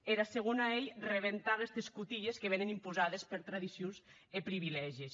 era segona ei crebar aguesti corsets que vien imposadi per tradicions e privilègis